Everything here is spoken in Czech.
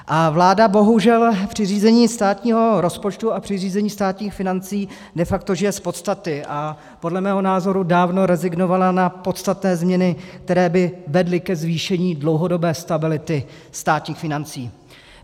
A vláda bohužel při řízení státního rozpočtu a při řízení státních financí de facto žije z podstaty a podle mého názoru dávno rezignovala na podstatné změny, které by vedly ke zvýšení dlouhodobé stability státních financí.